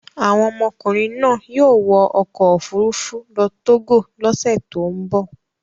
Àwọn ọmọkùnrin náà yóò wọ ọkọ̀-òfurufú lọ Togo lọ́sẹ̀ tó ń bọ̀.